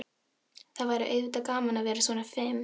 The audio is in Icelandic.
Það væri auðvitað gaman að vera svona fim.